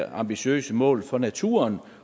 ambitiøse mål for naturen